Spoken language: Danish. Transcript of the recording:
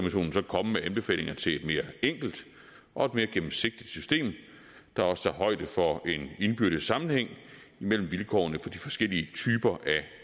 komme med anbefalinger til et mere enkelt og gennemsigtigt system der også tager højde for en indbyrdes sammenhæng imellem vilkårene for de forskellige typer